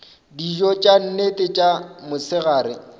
dijo tša nnete tša mosegare